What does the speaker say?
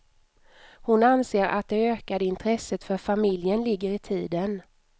Hon anser att det ökade intresset för familjen ligger i tiden.